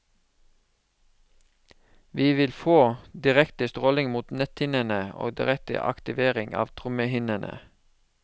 Vi vil få direkte stråling mot netthinnene og direkte aktivering av trommehinnene.